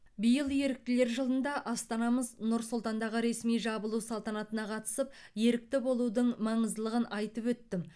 биыл еріктілер жылында астанамыз нұр сұлтандағы ресми жабылу салтанатына қатысып ерікті болудың маңыздылығын айтып өттім